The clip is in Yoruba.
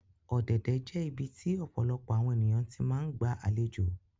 Ọ̀dẹ̀dẹ̀ jẹ ibiti ọpọlọpọ awọn eniyan ti maa ńgba alejo